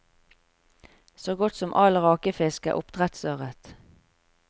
Så godt som all rakefisk er oppdrettsørret.